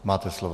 Máte slovo.